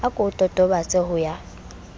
a ko totobatse ho ya